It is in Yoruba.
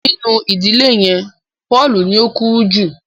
Nínú ìdílé yén Paul ní o kúrú jù.